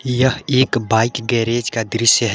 यह एक bike garage का दृश्य है।